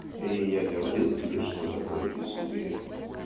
и я говорил тебе что такое безумие